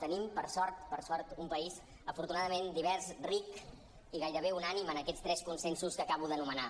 tenim per sort per sort un país afortunadament divers ric i gairebé unànime en aquests tres consensos que acabo d’anomenar